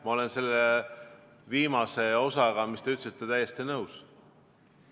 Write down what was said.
Ma olen selle viimase osaga, mis te ütlesite, täiesti nõus.